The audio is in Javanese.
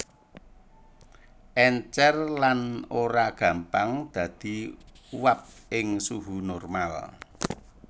Èncèr lan ora gampang dadi uap ing suhu normal